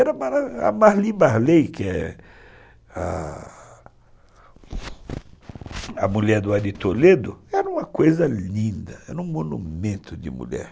a Marli Marley, que é a mulher do Ari Toledo, era uma coisa linda, era um monumento de mulher.